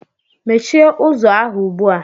Mechie ụzọ ahụ ugbu a!